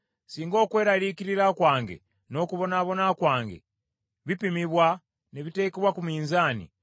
“Singa okweraliikirira kwange, n’okubonaabona kwange bipimibwa ne biteekebwa ku minzaani!